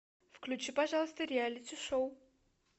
включи пожалуйста реалити шоу